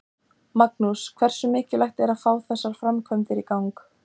Magnús: Hversu mikilvægt er að fá þessa framkvæmd í gang?